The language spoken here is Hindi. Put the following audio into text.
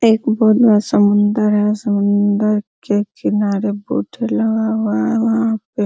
एक बहुत बड़ा समुन्दर है समुन्दर के किनारे बोटे लगा हुआ है वहां पे --